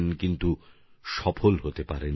কিন্তু তিনি সফল হতে পারেন নি